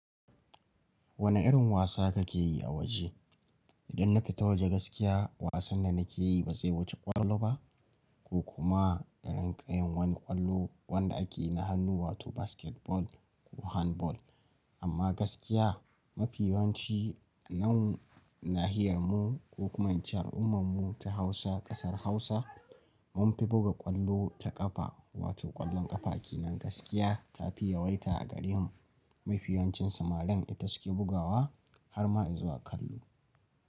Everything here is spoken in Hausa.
Wane irin wasa kake yi a waje? Idan na fito waje gaskiya wasan da nake yi ba zai wuce ƙwallo ba ko kuma irin ƙayan wani ƙwallo wanda ake na hannu wato basketball ko handball. Amma gaskiya mafiyanci nan nahiyan mu ko hukmancin al'ummar mu ta Hausa ƙasar Hausa mun fi buga ƙwallo ta ƙafa wato ƙwallon ƙafa. Ke nan gaskiya ta fi yawaita a gare mu. Mafiyancin samarin ita suke bugawa har ma izuwa kallo.